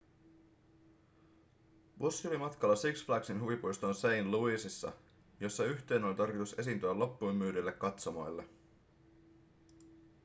bussi oli matkalla six flagsin huvipuistoon st louisissa jossa yhtyeen oli tarkoitus esiintyä loppuunmyydyille katsomoille